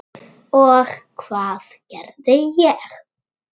Og hvað gerði ég?